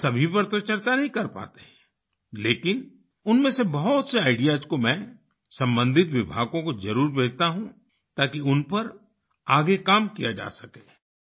हम सभी पर तो नहीं चर्चा कर पाते हैं लेकिन उनमें से बहुत से आईडीईएएस को मैं सम्बंधित विभागों को जरुर भेजता हूँ ताकि उन पर आगे काम किया जा सके